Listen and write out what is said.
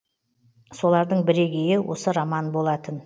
солардың бірегейі осы роман болатын